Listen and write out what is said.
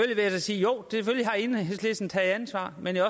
sige jo selvfølgelig har enhedslisten taget ansvar men jeg